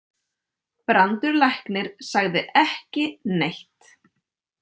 Brandur læknir sagði ekki neitt.